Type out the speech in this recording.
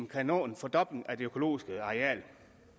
kan nå en fordobling af det økologiske areal